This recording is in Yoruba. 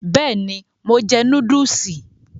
Bẹ́ẹ̀ni, mo jẹ núdúùsì.